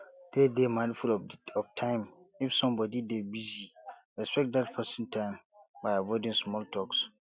dey dey mindful of time if somebody dey busy respect dat person time by avoiding small talks